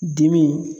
Dimi